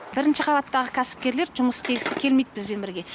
бірінші қабаттағы кәсіпкерлер жұмыс істегісі келмейді бізбен бірге